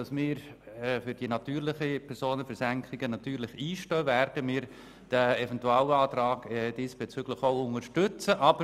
Da wir für eine Steuersenkung bei den natürlichen Personen einstehen, werden wir den diesbezüglichen Eventualantrag auch unterstützen.